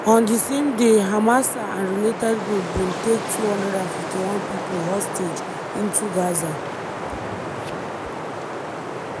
on di same day hamasa and related group bin take 251 pipo hostage into gaza.